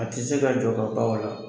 A tɛ se ka jɔ ka ban o la.